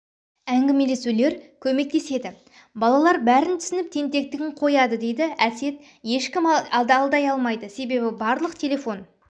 әңгімелесулер көмектеседі балалар бәрін түсініп тентектігін қояды дейді әсет ешкім алдай алмайды себебі барлық телефон